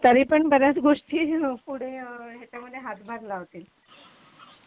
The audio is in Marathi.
तरीपण बऱ्याच गोष्टी पुढे याच्यामध्ये हातभार लावतील